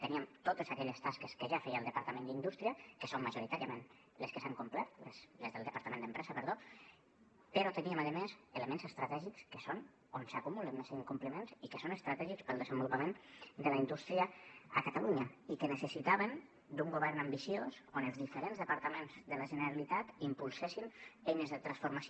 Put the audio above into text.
teníem totes aquelles tasques que ja feia el departament d’empresa que són majoritàriament les que s’han complert però teníem a més elements estratègics que és on s’acumulen més incompliments i que són estratègics per al desenvolupament de la indústria a catalunya i que necessitaven d’un govern ambiciós on els diferents departaments de la generalitat impulsessin eines de transformació